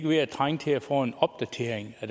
ved at trænge til at få en opdatering så